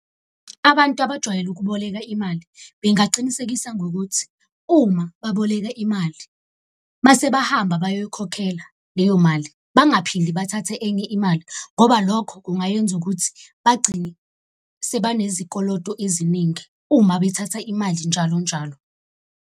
Abantu abajwayele ukuboleka imali bengaqinisekisa ngokuthi, uma baboleka imali mase bahamba bayoyikhokhela leyo mali. Bangaphinde bathathe enye imali, ngoba lokho kungayenza ukuthi bagcine sebanezi koloto eziningi, uma bethatha imali njalo njalo.